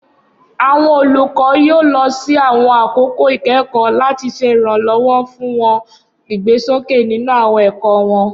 Awọn olukọ yoo lọ si awọn akoko ikẹkọ, lati ṣe iranlọwọ fun wọn igbesoke ninu awọn ẹkọ wọn.